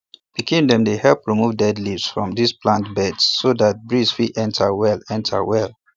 pikin dem dey help remove dead leaves from di plant beds so dat breeze fit enter well enter well